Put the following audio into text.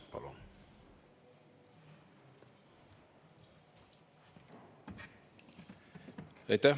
Palun!